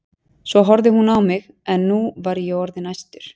Svo horfði hún á mig en nú var ég orðinn æstur.